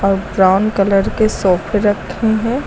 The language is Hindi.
और ब्राउन कलर के सोफे रखे हैं।